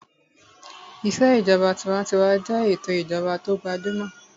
Ìṣèjọba tinwatinwa jẹ́ ètò ìjọba tó gbajúmọ̀